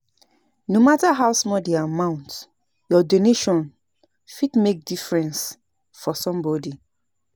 No matter how small the amount, your donation fit make difference for somebody.